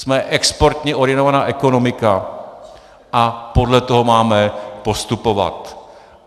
Jsme exportně orientovaná ekonomika a podle toho máme postupovat.